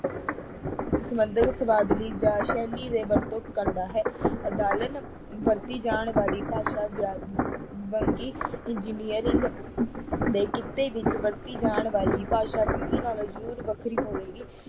ਸੰਬੰਧਿਤ ਸ਼ਬਦਾਵਲੀ ਜਾਂ ਸ਼ੈਲੀ ਦੇ ਵਰਤੋਂ ਕਰਦਾ ਹੈ ਵਰਤੀ ਜਾਣ ਵਾਲੀ ਭਾਸ਼ਾ ਵੰਨਗੀ engineering ਦੇ ਕਿੱਤੇ ਵਿੱਚ ਵਰਤੀ ਜਾਣ ਵਾਲੀ ਭਾਸ਼ਾ ਵੰਨਗੀ ਨਾਲੋਂ ਜ਼ਰੂਰ ਵੱਖਰੀ ਹੋਵੇਗੀ,